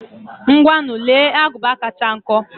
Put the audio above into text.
Ngwanu, lee agụba kacha nkọ.